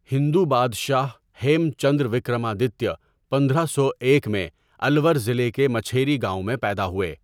ہندو بادشاہ ہیم چندر وکرمادتیہ پندرہ سو ایک میں الور ضلع کے مچھیری گاؤں میں پیدا ہوئے۔